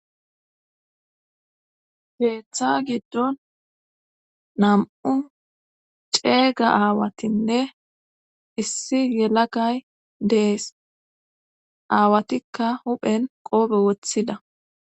Keeththa giddon nam7u ceega aawatinne issi yelagay dees aawatikka huphen qoobe woththida